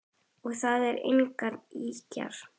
Og það eru engar ýkjur.